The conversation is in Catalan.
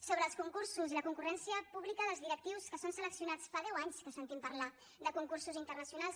sobre els concursos i la concurrència pública dels directius que s’han seleccionat fa deu anys que sentim parlar de concursos internacionals